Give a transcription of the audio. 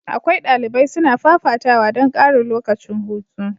Akwai dalibai suna fafatawa don karin lokacin hutu.